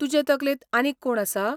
तुजे तकलेंत आनीक कोण आसा?